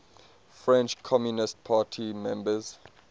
french communist party members